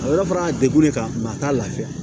A bɛ fara a degu le kan mɛ a t'a lafiya